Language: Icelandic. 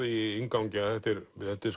í inngangi að þetta er